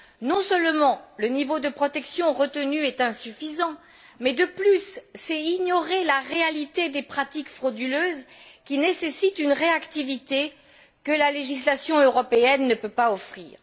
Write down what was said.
Non seulement le niveau de protection retenu est insuffisant, mais de plus cela revient à ignorer la réalité des pratiques frauduleuses, qui nécessitent une réactivité que la législation européenne ne peut pas offrir.